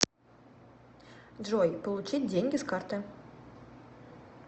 джой получить деньги с карты